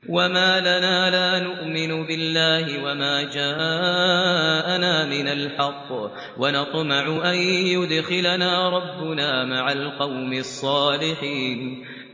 وَمَا لَنَا لَا نُؤْمِنُ بِاللَّهِ وَمَا جَاءَنَا مِنَ الْحَقِّ وَنَطْمَعُ أَن يُدْخِلَنَا رَبُّنَا مَعَ الْقَوْمِ الصَّالِحِينَ